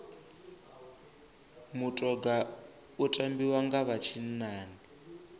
mutoga u tambiwa nga vha tshinnani